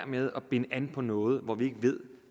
med at binde an på noget hvor vi ikke ved